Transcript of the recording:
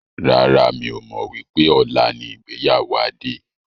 Rárá, mi ò mọ wípé ọ̀la ni ìgbéyàwó Adé.